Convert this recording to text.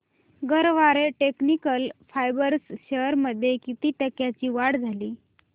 Garware technical fibres shares मध्ये किती टक्क्यांची वाढ झाली